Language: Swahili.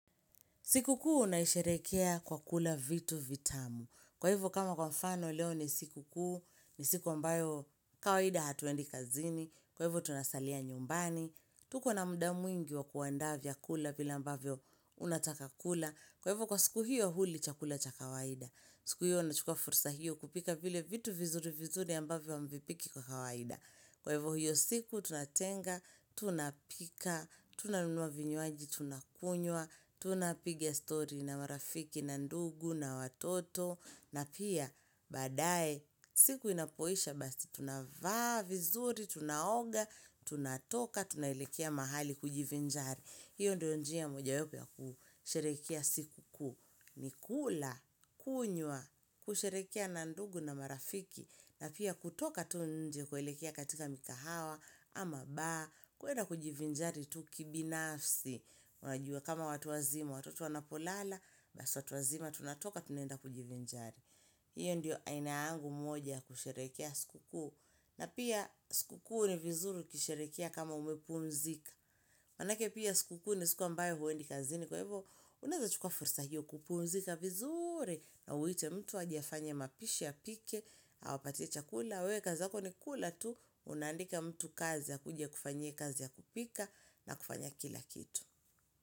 Siku kuu naisherehekea kwa kula vitu vitamu. Kwa hiou kama kwa mfano leo ni siku kuu ni siku ambayo kawaida hatuendi kazini. Kwa hivu tunasalia nyumbani. Tuko na mda mwingi wa kuandaa vya kula vile ambavyo unataka kula. Kwa hivo kwa siku hiyo huli chakula cha kawaida. Siku hiyo unachukua fursa hiyo kupika vile vitu vizuri vizuri ambavyo hamvipiki kwa kawaida. Kwa hivo hiyo siku, tunatenga, tunapika, tunanunuwa vinywaji, tunakunywa, tunapiga story na marafiki na ndugu na watoto, na pia baadae, siku inapoisha basi, tunavaa vizuri, tunaoga, tunatoka, tunaelekea mahali kujivinjari. Hiyo ndio njia moja wapo ya kusherehekea siku kuu, ni kula, kunywa, kusherekea na ndugu na marafiki, na pia kutoka tunje kwelekea katika mikahawa, ama bar, kuenda kujivinjari tuki binafsi. Unajua kama watu wazima, watoto wana polala, basi watu wazima tunatoka tunaenda kujivinjari. Hiyo ndio aina yangu moja kusherehekea siku kuu, na pia siku kuu ni vizuri ukisherehekea kama umepumzika. Manake pia sikukuu, ni siku a mbayo huendi kazini kwa ivo, unaeza chukua fursa hio kupu mzika vizuri na uite mtu aje afanye mapishi apike, awapatie chakula, wewe kazi yako ni kula tu, unaandika mtu kazi akuje akufanyie kazi ya kupika na kufanya kila kitu.